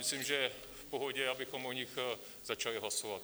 Myslím, že je v pohodě, abychom o nich začali hlasovat.